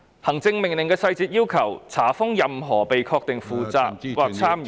行政命令的細節要求，查封任何被確定負責或參與......